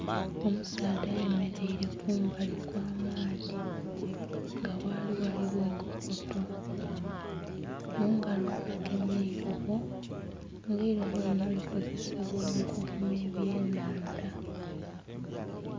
Omusaadha ayemereire kumbali okw'amaadhi nga ghali ghaligho enkokoto mungalo agemye eirobo nga eirobo lino likozesebwa mukugema eby'enhandha.